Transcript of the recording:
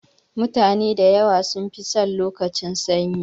Mutane da yawa sun fi son lokacin sanyi.